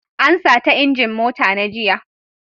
An sata injin mota na jiya.